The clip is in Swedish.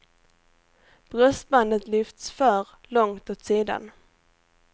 Bröstbandet lyfts för långt åt sidan.